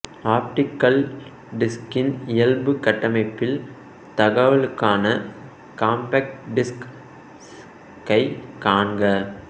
optical டிஸ்க்கின் இயல்பு கட்டமைப்பில் தகவலுக்கான கம்பேக்ட் டிஸ்க் கைக் காண்க